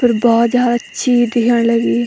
फिर बहौत जादा चीज दिख्याण लगीं।